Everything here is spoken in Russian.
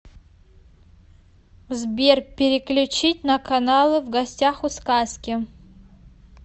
сбер переключить на каналы в гостях у сказки